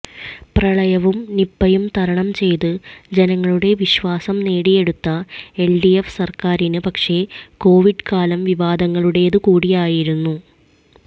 പ്രളയവും നിപ്പയും തരണം ചെയ്ത് ജനങ്ങളുടെ വിശ്വാസം നേടിയെടുത്ത എല്ഡിഎഫ് സര്ക്കാരിന് പക്ഷേ കൊവിഡ് കാലം വിവാദങ്ങളുടേത് കൂടിയായിരുന്നു